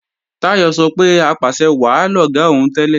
Táyọ̀ sọ pé apàṣẹwàá lọ̀gá òun tẹ́lẹ̀